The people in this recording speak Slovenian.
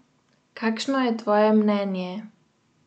Kakšno je tvoje mnenje?